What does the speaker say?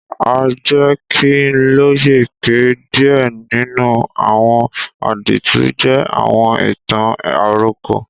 A jẹ ki n loye pe díẹ̀ nínú àwọn àdìtú jẹ àwọn ìtàn-àròkọ.